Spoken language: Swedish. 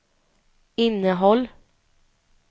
innehåll